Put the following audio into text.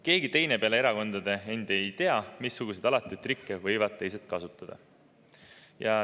Keegi teine peale erakondade endi ei tea, missuguseid alatuid trikke võivad teised kasutada.